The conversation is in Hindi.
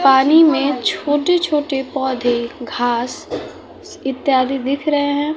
पानी में छोटे छोटे पौधे घास इत्यादि दिख रहे हैं।